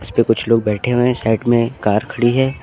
इसपे कुछ लोग बैठे हुए है साइड में कार खड़ी है।